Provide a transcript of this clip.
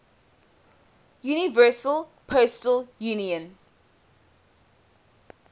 universal postal union